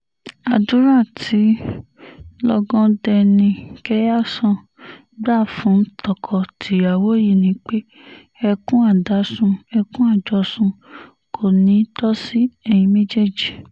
àdúrà tí lọ́gàdénikehàsán gbà fún tọkọ-tìyàwó yìí ni pé ẹkùn adásun ẹkùn àjọsùn kò ní í tó sí ẹ̀yin méjèèjì